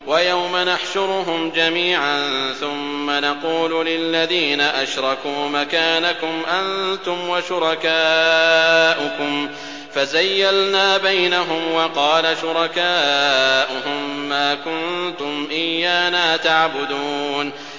وَيَوْمَ نَحْشُرُهُمْ جَمِيعًا ثُمَّ نَقُولُ لِلَّذِينَ أَشْرَكُوا مَكَانَكُمْ أَنتُمْ وَشُرَكَاؤُكُمْ ۚ فَزَيَّلْنَا بَيْنَهُمْ ۖ وَقَالَ شُرَكَاؤُهُم مَّا كُنتُمْ إِيَّانَا تَعْبُدُونَ